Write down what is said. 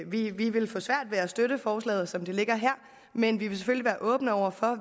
vi vil få svært ved at kunne støtte forslaget som det ligger her men vi vil selvfølgelig være åbne og